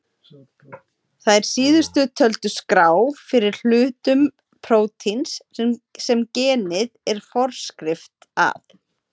Þær síðast töldu skrá fyrir hlutum prótíns sem genið er forskrift að.